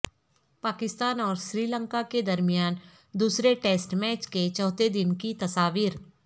پاکستان اور سری لنکا کے درمیان دوسرے ٹیسٹ میچ کے چوتھے دن کی تصاویر